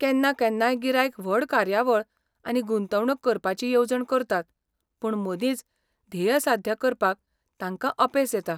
केन्ना केन्नाय गिरायक व्हड कार्यकाळ आनी गुंतवणूक करपाची येवजण करतात पूण मदींच ध्येय साध्य करपाक तांकां अपेस येता.